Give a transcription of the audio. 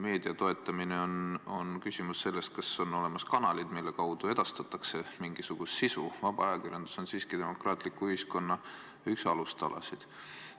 Meedia toetamine on küsimus sellest, kas on olemas kanalid, mille kaudu edastatakse mingisugust sisu, vaba ajakirjandus on siiski demokraatliku ühiskonna üks alustalasid.